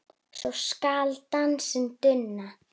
svo skal dansinn duna